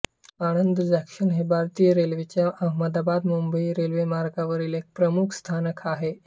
Anand junction हे भारतीय रेल्वेच्या अहमदाबादमुंबई रेल्वेमार्गावरील एक प्रमुख रेल्वे स्थानक आहे